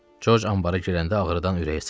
Corc ambara girəndə ağrıdan ürəyi sıxıldı.